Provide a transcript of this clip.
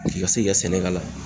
puruke I ka se k'i ka sɛnɛ k'ala